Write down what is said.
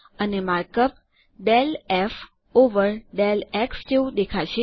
અને mark up del f over del x જેવું દેખાશે